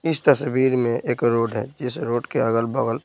इस तस्वीर में एक रोड है जिस रोड के अगल-बगल --